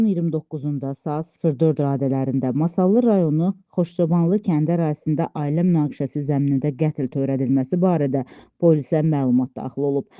İyunun 29-da saat 04 radələrində Masallı rayonu Xoşçobanlı kəndi ərazisində ailə münaqişəsi zəminində qətl törədilməsi barədə polisə məlumat daxil olub.